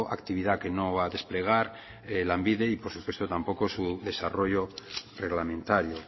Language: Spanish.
actividad que no va a desplegar lanbide y por supuesto tampoco su desarrollo reglamentario